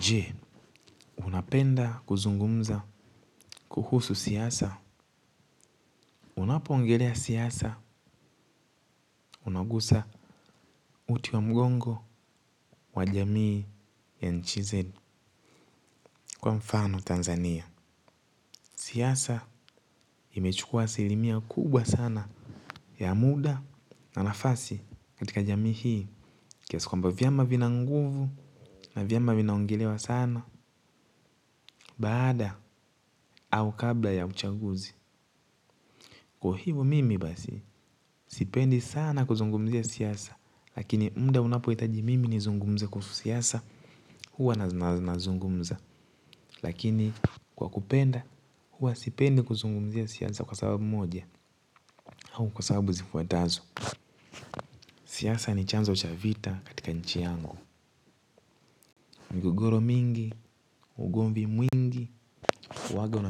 Je, unapenda kuzungumza kuhusu siasa? Unapoongelea siasa, unagusa uti wa mgongo wa jamii ya nchizeli kwa mfano Tanzania. Siasa imechukua asilimia kubwa sana ya muda na lafasi katika jamii hii. Kiasi kwamba vyama vina nguvu na vyama vinaongelewa sana baada au kabla ya uchaguzi. Kwa hivo mimi basi, sipendi sana kuzungumzia siasa. Lakini mda unapoitaji mimi nizungumze kuhusu siasa. Huwa nazungumza. Lakini kwa kupenda, huwa sipendi kuzungumzia siasa kwa sababu moja au kwa sababu zifuatazo. Siasa ni chanzo cha vita katika nchi yangu. Mgogoro mingi, ugomvi mwingi huwaga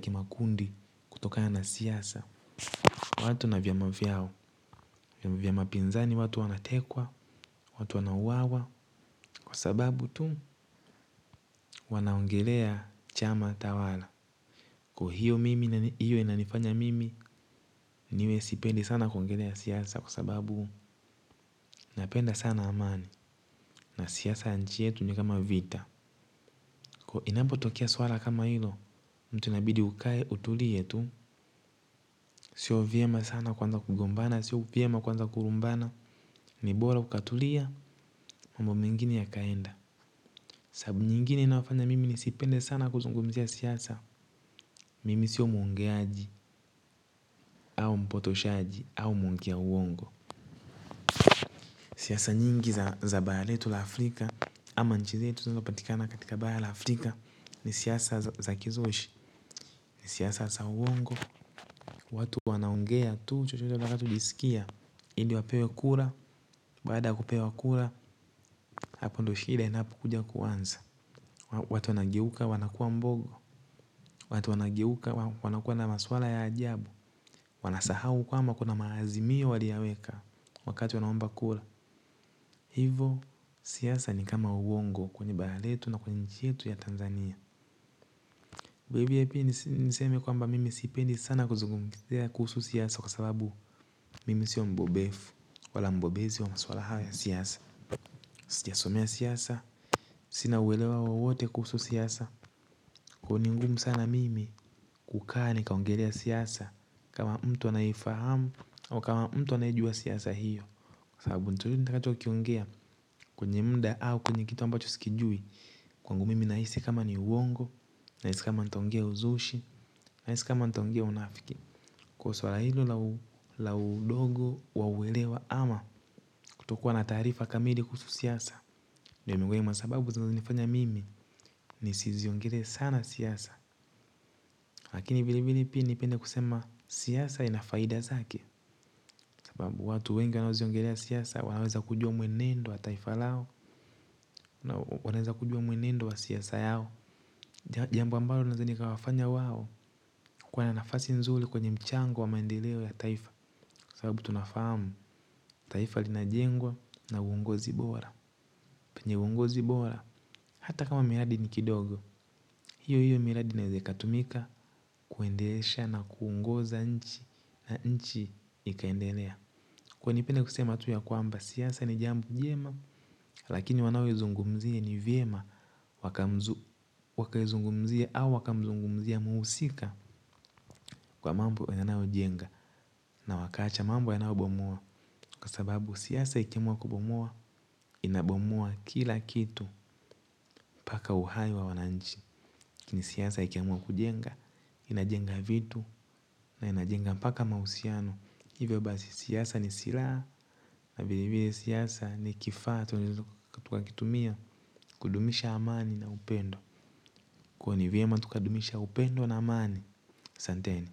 kimakundi kutokana na siasa. Watu na vyama vyao. Vyama pinzani watu wanatekwa. Watu wanauawa kwa sababu tu wanaongelea chama tawala. Kwa hiyo mimi na hiyo inanifanya mimi niwe sipendi sana kuongelea siasa kwa sababu napenda sana amani na siasa ya nchi yetu ni kama vita. Kwa inapo tokea swala kama hilo mtu nabidi ukaye utulie tu. Sio vyema sana kwunza kugombana, sio vyema kuanza kurumbana. Nibora ukatulia mambo mengine ya kaenda. Sabu nyingine inafanya mimi ni sipende sana kuzungumzia siasa. Mimi siyo mwongeaji au mpotoshaji au mwongea uongo. Siasa nyingi za bara letu la Afrika Ama nchi zetu zinazo patikana katika bara la Afrika. Ni siasa za kizushi, ni siasa za uongo. Watu wanaongea tu chochote vakatu jisikia. Ili wapewe kura, baada ya kupewa kura. Hapovndo shida inapo kuja kuanza. Watu wanageuka wanakuwa mbogo. Watu wanageuka wanakuwa na maswala ya ajabu. Wanasahau kwamba kuna maazimio wali yaweka wakati wanaomba kura, ivo siasa ni kama uongo kwenye bara letu na kwenye nchi yetu ya tanzania Baby hepi niseme kwamba mimi sipendi sana kuzungumzia kuusu siasa. Kwa sababu mimi siyo mbobefu wala mbobezi wa maswala hawa ya siasa. Sijasomea siasa. Sina uwelewa wowote kuusu siasa. Kwa ni ngumu sana mimi kukaa nikaongelea siasa kama mtu anaefahamu ama kama mtu anayejua siasa hiyo. Kwenye mda au kwenye kitu ambacho sikijui. Kwangu mimi naisi kama ni uongo. Naisi kama ntaongea uzushi. Naisi kama ntaongea unafiki. Kwa sawa hilo laudogo wauwelewa ama kutokuwa na taarifa kamili kusu siasa. Nyo mingoni mwa sababu za nifanya mimi. Ni si ziongele sana siasa. Lakini vile vile pini pende kusema siasa inafaida zake. Watu wengi nao ziongelea siasa. Wanaweza kujua mwenendo wa taifalao. Wanaweza kujua mwenendo wa siasa yao. Jambo ambayo na zani kawafanya wawo kwa na nafasi nzuli kwenye mchango wa maendeleo ya taifa. Sababu tunafahamu taifa lina jengwa na uungozi bora. Penye uongozi bora hata kama miradi ni kidogo. Hiyo hiyo miradi inaezekatumika kuendelesha na kuongoza nchi na nchi ikaendelea. Kwa nipenda kusema tu ya kwamba siasa ni jambo jema. Lakini wanao zungumzia ni viema waka zungumzie au waka zungumzie muusika. Kwa mambo ina nao jenga. Na wakacha mambo ina obomua. Kwa sababu siasa ikimua kubomoa. Inabomoa kila kitu. Paka uhai wa wananchi. Kini siasa ikimua kujenga. Inajenga vitu na inajenga paka mausiano. Iwe basi siasa ni sila na vilevile siasa ni kifaa. Tukakitumia kudumisha amani na upendo. Kwa ni vyema tukadumisha upendo na amani aSanteni.